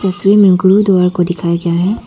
तस्वीर में गुरुद्वार को दिखाया गया है।